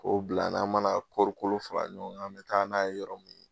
K'o bila n'an mana kɔɔrikolo fara ɲɔgɔn, an bɛ taa n'a ye yɔrɔ min